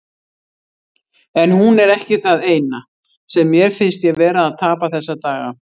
En hún er ekki það eina, sem mér finnst ég vera að tapa þessa daga.